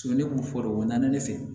ne kun fɔ u nana ne fɛ yen